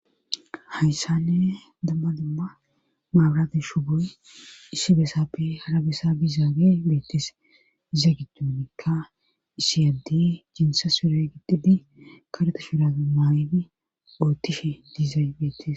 hayssanne damma dumma maaburati shuboy issi besappe hara besa bizaage beettes iza giddonnikka issi addi jinsa sure giddidi kareta shuraabe maaydi oottishe diizay beettis